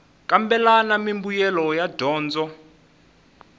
kambela na mimbuyelo ya dyondzo